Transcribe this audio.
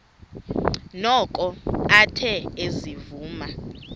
noko athe ezivuma